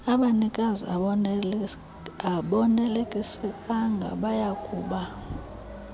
abanikazi abonelisekanga bayakuba